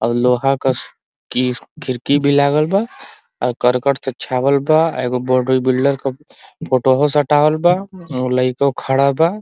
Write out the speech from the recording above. और लोहा का किर खिड़की भी लागल बा और करकट के छावल बा ए गो बॉबी बिल्डर का फोटो हो सटावल बा। उ लइको खड़ा बा।